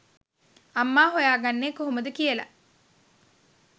අම්මා හොයාගන්නෙ කොහොමද කියලා